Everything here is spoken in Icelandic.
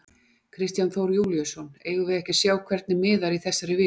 Kristján Þór Júlíusson: Eigum við ekki að sjá hvernig miðar í þessari viku?